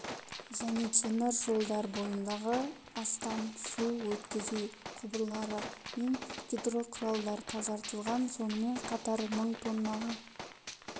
және темір жолдар бойындағы астам су өткізу құбырлары мен гидроқұралдар тазартылған сонымен қатар мың тоннаға